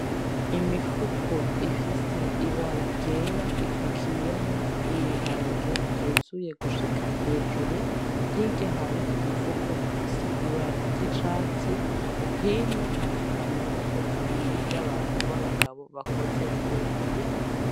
Imifuko ifise ibara ryera ipakiyemwo ibiharage vyuzuye gushika hejuru, hirya hari umufuko ufise ibara ry'icatsi, hino hari amaboko abiri y'abantu babagabo bakoze muruyo mufuko.